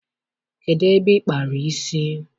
Kedụ ebe ị kpara isi?